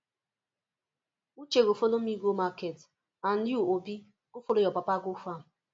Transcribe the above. uche go follow me go market and you obi go follow your papa go farm